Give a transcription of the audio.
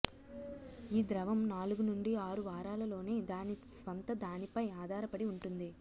ఈ ద్రవం నాలుగు నుండి ఆరు వారాలలోనే దాని స్వంతదానిపై ఆధారపడి ఉంటుంది